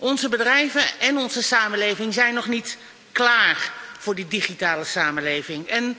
Onze bedrijven en onze samenleving zijn nog niet klaar voor die digitale samenleving.